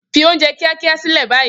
Fi oúnjẹ kíákíá sílẹ̀ báyìí